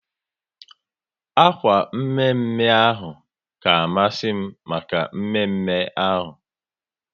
Akwa mme mme ahụ ka masi m maka mme mme ahu